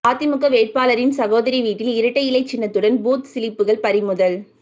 அதிமுக வேட்பாளரின் சகோதரி வீட்டில் இரட்டை இலை சின்னத்துடன் பூத் சிலிப்புகள் பறிமுதல்